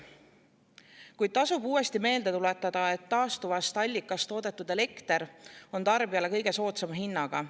Kuid tasub uuesti meelde tuletada, et taastuvast allikast toodetud elekter on tarbijale kõige soodsama hinnaga.